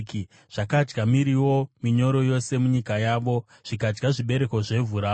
zvakadya miriwo minyoro yose munyika yavo, zvikadya zvibereko zvevhu ravo.